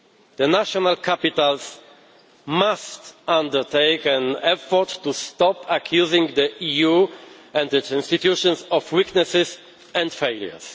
The national capitals must make an effort to stop accusing the EU and its institutions of weaknesses and failures.